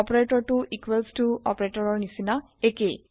অপাৰেতৰটো equals ত অপাৰেতৰৰ নিচিনা একেই